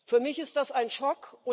Für mich ist das ein Schock.